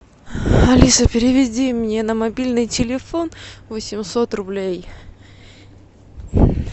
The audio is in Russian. алиса переведи мне на мобильный телефон восемьсот рублей